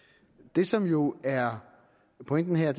det som jo er pointen her